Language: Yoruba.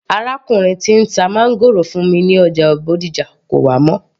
Arákùnrin tí ń ta máńgòrò fún mi ní ọjà Bódìjà kò wá mọ́